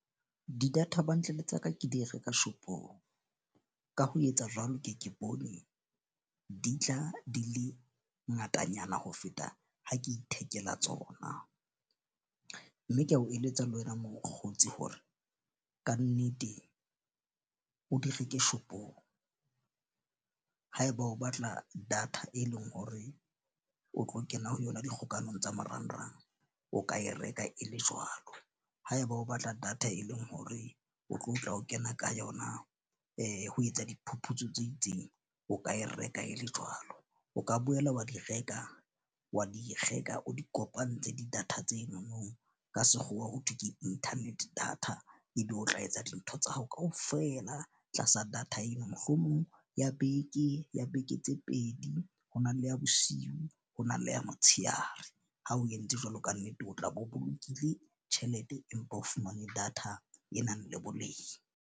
Di-data bundle tsa ka ke di reka shop-ong. Ka ho etsa jwalo, ke ke bone di tla di le ngatanyana ho feta ha ke ithekela tsona. Mme ke a o eletsa le wena mokgotsi hore kannete o di reke shop-ong. Haeba o batla data e leng hore o tlo kena ho yona dikgokanyong tsa marangrang, o ka e reka e le jwalo. Haeba o batla data e leng hore o tlo tla o kena ka yona ya ho etsa diphuputso tse itseng, o ka e reka e le jwalo, o ka boela wa di reka wa di reka o di kopantshe di-data tsenono. Ka sekgowa ho thwe ke internet data ebe o tla etsa dintho tsa hao kaofela tlasa data eno. Mohlomong ya beke ya beke tse pedi ho na le ya bosiu ho na le ya motsheare. Ha o entse jwalo, kannete o tla be o bolokile tjhelete, empa o fumane data e nang le boleng.